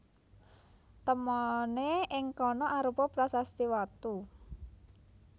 Temoné ing kana arupa prasasti watu